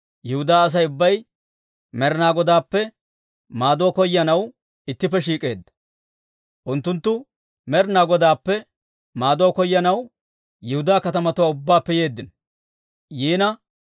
Yihudaa Asay ubbay Med'inaa Godaappe maaduwaa koyanaw ittippe shiik'eedda; unttunttu Med'inaa Godaappe maaduwaa koyanaw Yihudaa katamatuwaa ubbaappe yeeddino.